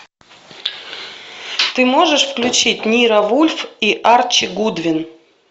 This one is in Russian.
ты можешь включить ниро вульф и арчи гудвин